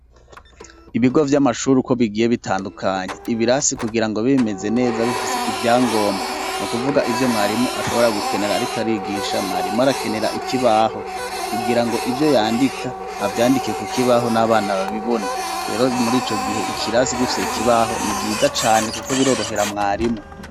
Ibigo vy'amashuri uko bigiye bitandukanye ibirasi kugira ngo bimeze neza bifise ivyangombwa no kuvuga ivyo mwarimu ashobora gukenera ariko arigisha mwarimu arakenera ikibaho kugira ngo ivyo yandika abyandike kukibaho n'abana babibone rero muri ico gihe ikirasi gifise ikibaho ni vyiza cane kuko birorohera mwarimu.